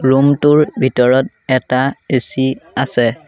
Room টোৰ ভিতৰত এটা এ_চি আছে।